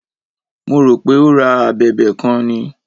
Mo rò pé o ra a abẹ̀bẹ̀ kan ni.